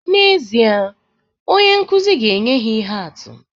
N'ezie, onye nkụzi ga-enye ihe atụ